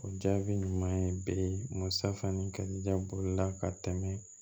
O jaabi ɲuman ye bɛ safan ni karijala ka tɛmɛ